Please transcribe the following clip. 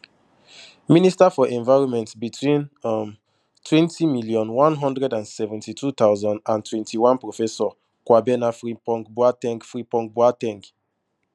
minister for environment between um twenty million, one hundred and seventy-two thousand and twenty-one professor kwabena frimpong boa ten g frimpong boa ten g